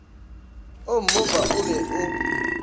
o mmopa o be o